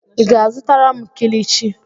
ị ga-azụtara m kilichi?